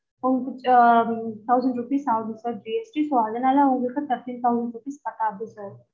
உங்களுக்கு ah thousand rupees ஆவுது sir GST so அதனால உங்களுக்கு thirty thousand cut ஆவுது sir